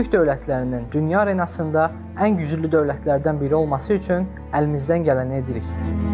Türk dövlətlərinin dünya arenasında ən güclü dövlətlərdən biri olması üçün əlimizdən gələni edirik.